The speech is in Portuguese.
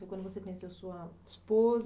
Foi quando você conheceu sua esposa.